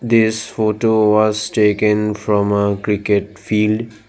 this photo was taken from a cricket field.